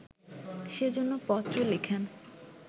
সে জন্য পত্র লেখেন